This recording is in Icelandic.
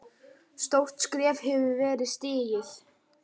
Stórt skref hefur verið stigið.